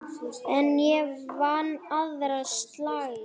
En ég vann aðra slagi.